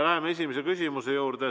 Läheme esimese küsimuse juurde.